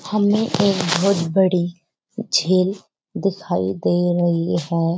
हमें एक बहुत बड़ी झील दिखाई दे रही है।